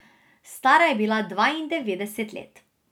Stara je bila dvaindevetdeset let.